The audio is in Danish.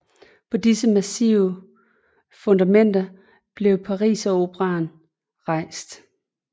På disse massive fundamenter blev Pariseroperaen rejst